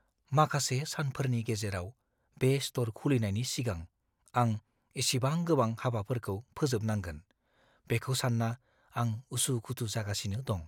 माखासे सानफोरनि गेजेराव बे स्ट'र खुलिनायनि सिगां आं इसेबां गोबां हाबाफोरखौ फोजोबनांगोन, बेखौ सानना आं उसु-खुथु जागासिनो दं।